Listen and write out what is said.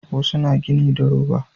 Wasu na gini da roba